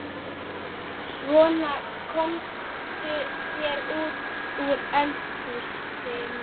Svona, komdu þér út úr eldhúsinu.